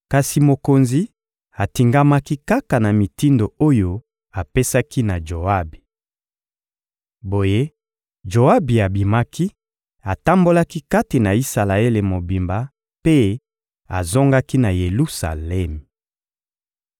Kasi mokonzi atingamaki kaka na mitindo oyo apesaki na Joabi. Boye, Joabi abimaki, atambolaki kati na Isalaele mobimba mpe azongaki na Yelusalemi.